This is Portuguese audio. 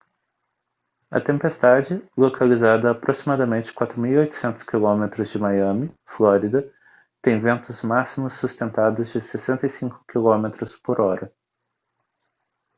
a tempestade localizada a aproximadamente 4.800 km de miami flórida tem ventos máximos sustentados de 65 km/h